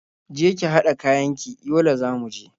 Je ki haɗa kayan ki, Yola za mu je.